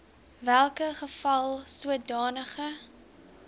welke geval sodanige